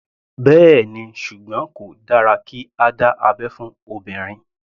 Bẹ́ẹ̀ni, ṣùgbọ́n kò dára kí a dá abẹ́ fún obìnrin.